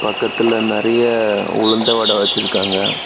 பக்கத்துல நெறய உளுந்த வடை வச்சிருக்காங்க.